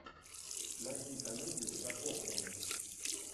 найди комедию про похороны